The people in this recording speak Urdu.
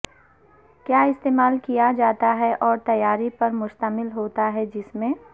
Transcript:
کیا استعمال کیا جاتا ہے اور تیاری پر مشتمل ہوتا ہے جس میں